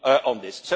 on this